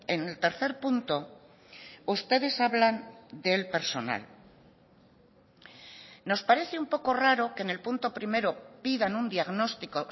en el tercer punto ustedes hablan del personal nos parece un poco raro que en el punto primero pidan un diagnóstico